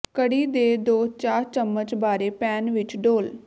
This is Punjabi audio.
ਕੜੀ ਦੇ ਦੋ ਚਾਹ ਚੱਮਚ ਬਾਰੇ ਪੈਨ ਵਿੱਚ ਡੋਲ੍ਹ